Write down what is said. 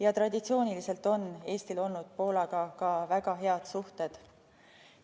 Ja traditsiooniliselt on Eestil olnud Poolaga ka väga head suhted.